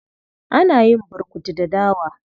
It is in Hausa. Ana yin burkutu da dawa.